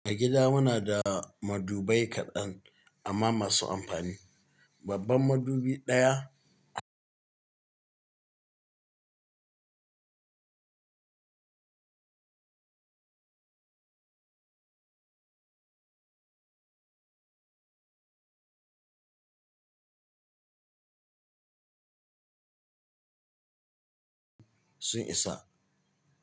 A gida muna da madubai kaɗan amma masu amfani. Babban madubi ɗaya sun isa.